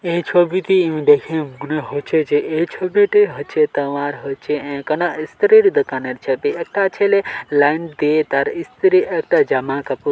এই ছবিটি ই দেখে মনে হচ্ছে যে এই ছবিটি হচ্ছে তোমার হয়েছে এক খানে স্ত্রীর দোকানের ছবি | একটা ছেলে লাইন দিড় স্ত্রী একটা জামা কাপড়--